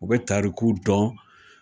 U bɛ tarikuw dɔn